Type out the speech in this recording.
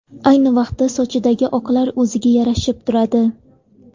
Ayni vaqtda sochidagi oqlar o‘ziga yarashib turadi.